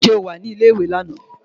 Ǹjẹ́ o wà ní ilé ìwé lánàá?